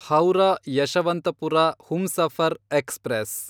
Howrah Yesvantpur Humsafar express